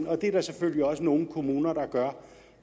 og det er der selvfølgelig også nogle kommuner der gør